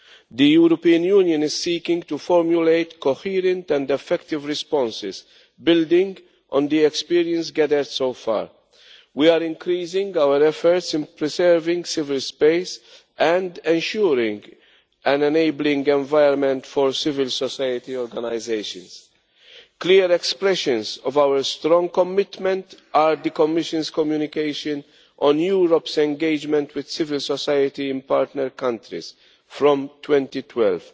The European Union is seeking to formulate coherent and effective responses building on the experience gathered so far. We are increasing our efforts in preserving civil space and ensuring an enabling environment for civil society organisations. Clear expressions of our strong commitment are the Commission's communication on Europe's engagement with civil society in partner countries from 2012,